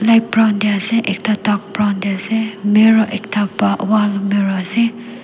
light brown tae ase ekta dark brown tae ase mirror ekta wall mirror ase--